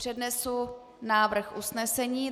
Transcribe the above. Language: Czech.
Přednesu návrh usnesení.